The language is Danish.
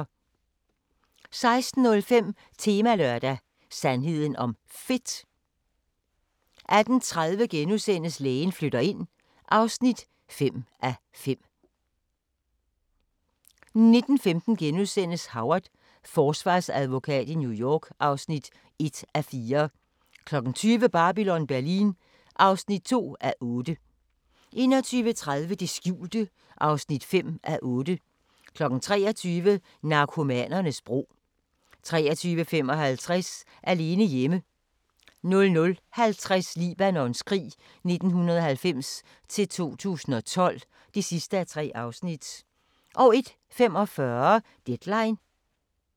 16:05: Temalørdag: Sandheden om fedt 18:30: Lægen flytter ind (5:5)* 19:15: Howard – forsvarsadvokat i New York (1:4)* 20:00: Babylon Berlin (5:8) 21:30: Det skjulte (5:8) 23:00: Narkomanernes bro 23:55: Alene hjemme 00:50: Libanons krig 1990-2012 (3:3) 01:45: Deadline Nat